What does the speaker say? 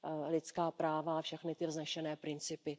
lidská práva a všechny ty vznešené principy.